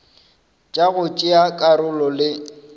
tša go tšea karolo le